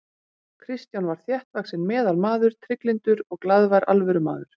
Kristján var þéttvaxinn meðalmaður, trygglyndur og glaðvær alvörumaður.